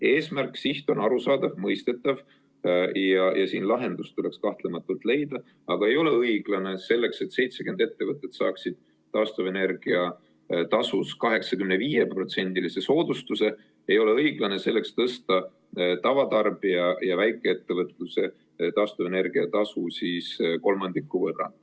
Eesmärk, siht on arusaadav, mõistetav, ja siin tuleks kahtlemata lahendus leida, aga ei ole õiglane tõsta tavatarbija ja väikeettevõtluse taastuvenergia tasu kolmandiku võrra selleks, et 70 ettevõtet saaks taastuvenergia tasus 85%-lise soodustuse.